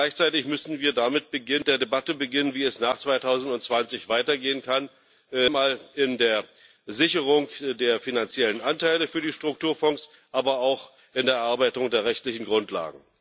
Und gleichzeitig müssen wir mit der Debatte beginnen, wie es nach 2020 weitergehen kann, einmal in der Sicherung der finanziellen Anteile für die Strukturfonds, aber auch in der Erarbeitung der rechtlichen Grundlagen.